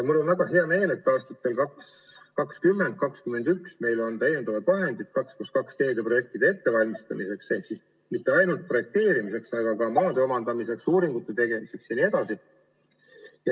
Mul on väga hea meel, et 2020 ja 2021 on meil lisavahendeid 2 + 2 teede projektide ettevalmistamiseks ehk mitte ainult projekteerimiseks, vaid ka maade omandamiseks, uuringute tegemiseks jne.